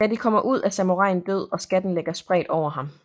Da de kommer ud er samuraien død og skatten ligger spredt over ham